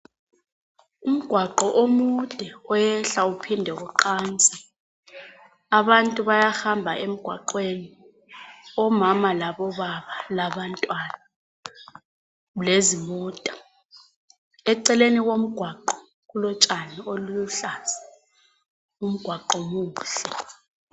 Umgwaqo omude oyehla uphinde uqanse. Abantu bayahamba emgwaqweni, omama labobaba labantwana lezimota. Eceleni komgwaqo kulotshani oluluhlaza. Umgwaqo muhle.